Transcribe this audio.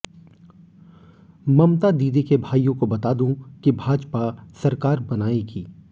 ममता दीदी के भाइयों को बता दूं कि भाजपा सरकार बनाएगी